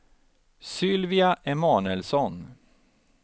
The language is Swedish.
Sylvia Emanuelsson